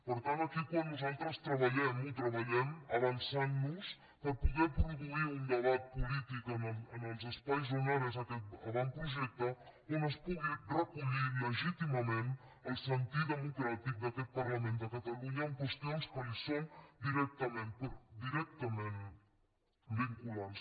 per tant aquí quan nosaltres treballem ho treballem avançant nos per poder produir un debat polític en els espais on ara és aquest avantprojecte on es pugui recollir legítimament el sentir democràtic d’aquest parlament de catalunya en qüestions que li són directa ment vinculants